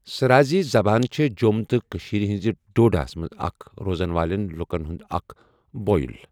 سرازی زبان چھَ جۆم تہٕ کٔشیٖر ہنزہ ڈوڈہ مَنٛز اَکھ روزان والین لُکن ہُنٛد اَکھ بوئل۔